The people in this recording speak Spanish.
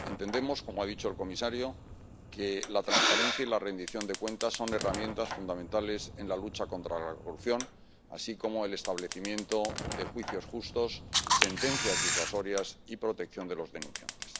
Entendemos, como ha dicho el comisario, que la transparencia y la rendición de cuentas son herramientas fundamentales en la lucha contra la corrupción, así como el establecimiento de juicios justos, sentencias disuasorias y protección de los denunciantes.